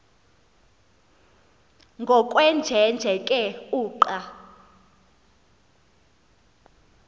ngokwenjenje ke uqa